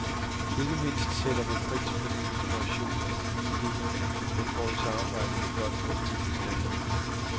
Ikke mindst sætter man pris på den inspiration og de nye idéer, man får i samarbejdet med folk fra udviklingslandene.